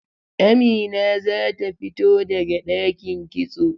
Amina zata fito daga ɗakin kitso.